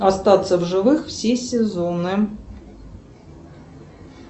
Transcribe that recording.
остаться в живых все сезоны